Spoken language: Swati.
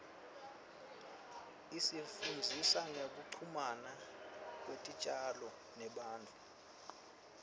isifundzisa ngekuchumana kwetitjalo nebantfu